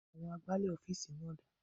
Àwọn agbálẹ̀ ọ́fíìsì náà dà?